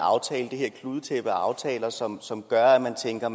kludetæppe af aftaler som som gør at man tænker